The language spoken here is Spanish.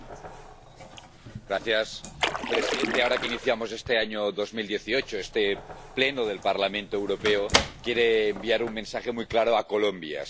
Señor presidente, ahora que iniciamos este año 2018, este Pleno del Parlamento Europeo quiere enviar un mensaje muy claro a Colombia.